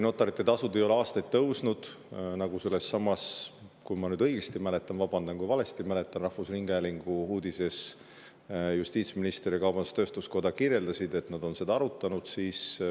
Notaritasud ei ole aastaid tõusnud, nagu sellessamas – vabandan, kui valesti mäletan – rahvusringhäälingu uudises justiitsminister ja kaubandus-tööstuskoja kirjeldasid, nad on seda arutanud.